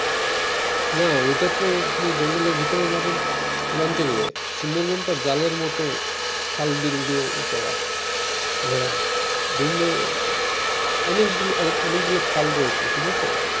না ওইটা তো আপনি জঙ্গলের ভিতরে যাবেন লঞ্চে করে সুন্দরবন টা জালের মত খাল বিল দিয়ে ই করা ঘেরা অনেকগুলো অনেকগুলো খাল দিয়ে